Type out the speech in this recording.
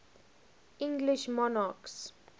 english monarchs